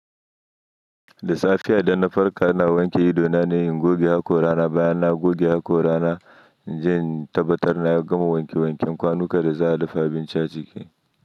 Da safe ya danna farko ana wanke ido na ne in goge haƙora na bayan na goge haƙora na in je in tabbatar na gama wanke wanken kwanukan da za a dafa abinci a ciki.